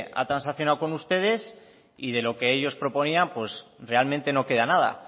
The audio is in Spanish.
ha transaccionado con ustedes y de lo que ellos proponían pues realmente no queda nada